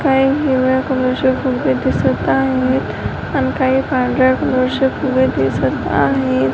काही हिरव्या कलरचे फुले दिसत आहेत आणि काही पांढऱ्या कलरचे फुले दिसत आहेत.